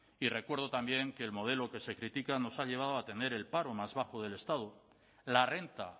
y recuerdo también que el modelo que se critica nos ha llevado a tener el paro más bajo del estado la renta